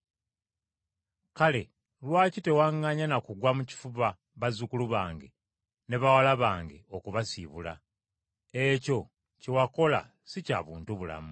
Kale lwaki tewaŋŋanya na kugwa mu kifuba bazzukulu bange ne bawala bange okubasiibula? Ekyo kye wakola si kya buntubulamu.